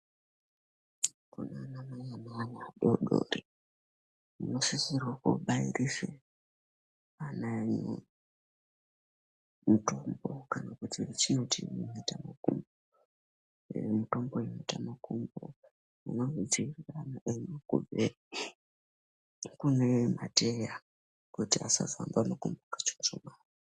Kunaanamai ane ana adoodori, munosisirwe koobairise ana enyu. Mitombo kana kuti muchindi mhetamakumbo. Mitombo yemhetamakumbo, inodziirira ana enyu kubve kune mateya kuti asazoamba nekuchuchuma.